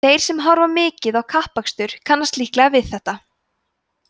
þeir sem horfa mikið á kappakstur kannast líklega við þetta